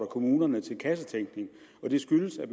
kommunerne til kassetænkning det skyldes at